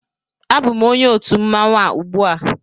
Abụm onye otu mmanwụ a ugbua